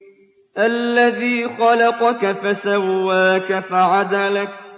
الَّذِي خَلَقَكَ فَسَوَّاكَ فَعَدَلَكَ